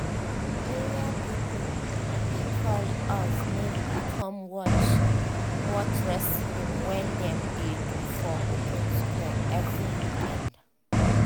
area people bin call us make we come watch watch wrestling wey dem dey do for open square every weekend